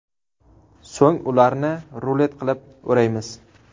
So‘ng ularni rulet qilib o‘raymiz.